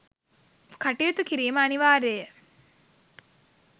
කටයුතු කිරීම අනීවාර්යය.